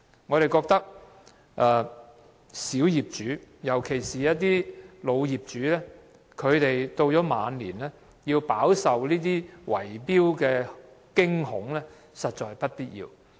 我們認為小業主，尤其是一些老業主，到了晚年仍要飽受這些圍標的驚恐，實在是不必要的。